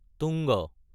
টোঙা